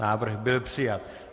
Návrh byl přijat.